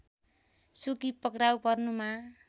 सुकी पक्राउ पर्नुमा